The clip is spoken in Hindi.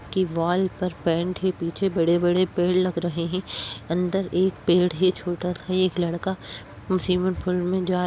की वॉल पर पैंट है। पीछे बड़े बड़े पेड़ लग रहे हैं। अंदर एक पेड़ है। छोटा सा एक लड़का स्विमिंग पूल में जा --